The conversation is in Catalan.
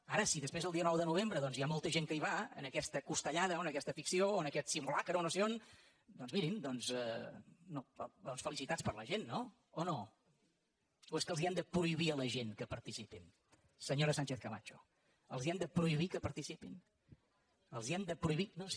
ara si després el dia nou de novembre doncs hi ha molta gent que hi va a aquesta costellada o a aquesta ficció o a aquest simulacre o no sé on doncs mirin felicitats per a la gent no o no o és que els hem de prohibir a la gent que hi participin senyora sánchezcamacho els hem de prohibir que hi participin els ho hem de prohibir no sí